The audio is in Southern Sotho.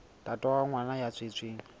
ntate wa ngwana ya tswetsweng